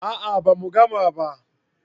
a'a ba mu gama ba